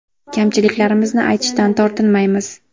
Kamchiliklarimizni aytishdan tortinmaymiz.